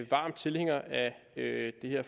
varm tilhænger af det her